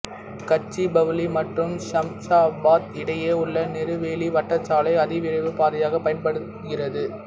கச்சிபவ்லி மற்றும் ஷம்ஷாபாத் இடையே உள்ள நேரு வெளி வட்ட சாலை அதிவிரைவுப் பாதையாகப் பயன்படுகிறது